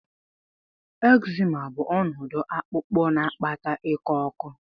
Ekzima bụ ọnọdụ akpụkpọ na-akpata iko oko.